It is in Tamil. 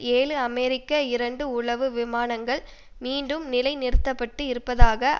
ஏழு அமெரிக்க இரண்டு உளவு விமானங்கள் மீண்டும் நிலை நிறுத்த பட்டு இருப்பதாக